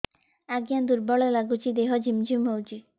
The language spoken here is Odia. ଆଜ୍ଞା ଦୁର୍ବଳ ଲାଗୁଚି ଦେହ ଝିମଝିମ ହଉଛି